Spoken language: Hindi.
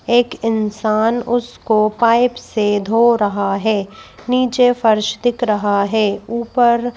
एक इंसान उसको पाइप से धो रहा है नीचे फर्श दिख रहा है ऊपर --